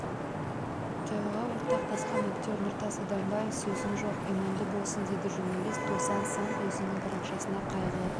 қайғыға ортақтасқан актер нұртас адамбаев сөзім жоқ иманды болсын деді журналист досан сан өзінің парақшасына қайғы